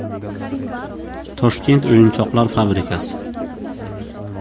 Toshkent o‘yinchoqlar fabrikasi.